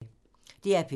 DR P2